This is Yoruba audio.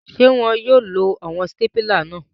Ṣe wọn yóò lo awọn stapila náà?